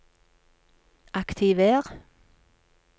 aktiver